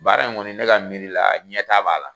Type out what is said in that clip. Baara in kɔni ne ka miiri la ɲɛ ta b'a la